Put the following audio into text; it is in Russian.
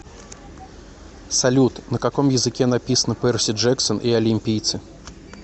салют на каком языке написано перси джексон и олимпийцы